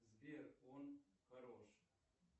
сбер он хороший